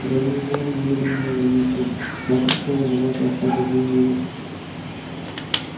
я не имею намерения вредить вам я пришёл умолять вас об одной милости